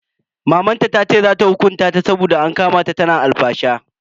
Mamanta tace za ta hukunta ta saboda an kama ta tana alfasha.